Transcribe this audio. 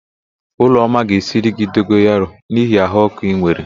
Ụlọma ga-esiri gị dogoyaro n'ihi ahụ ọ́kụ́ ị nwere.